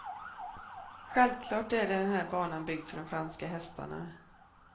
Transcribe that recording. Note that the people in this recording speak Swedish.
Självklart är den här banan byggd för de franska hästarna.